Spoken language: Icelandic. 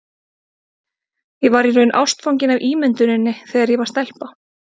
Ég var í raun ástfangin af ímynduninni þegar ég var stelpa.